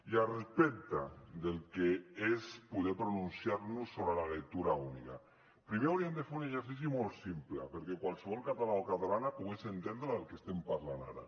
i al respecte del que és poder pronunciar nos sobre la lectura única primer hauríem de fer un exercici molt simple perquè qualsevol català o catalana pogués entendre del que estem parlant ara